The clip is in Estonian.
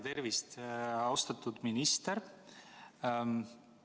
Tervist, austatud minister!